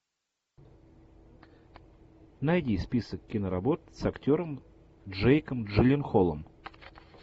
найди список киноработ с актером джейком джилленхолом